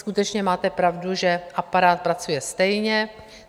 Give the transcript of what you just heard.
Skutečně máte pravdu, že aparát pracuje stejně.